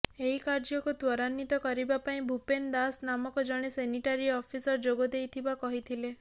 ଏହି କାର୍ଯ୍ୟକୁ ତ୍ୱରାନ୍ନିତ କରିବାପାଇଁ ଭୁପେନ୍ ଦାସ ନାମକ ଜଣେ ସେନିଟାରୀ ଅଫିସର ଯୋଗ ଦେଇଥିବା କହିଥିଲେ